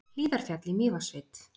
Hlíðarfjall í Mývatnssveit.